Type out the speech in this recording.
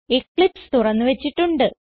Eclipse തുറന്ന് വച്ചിട്ടുണ്ട്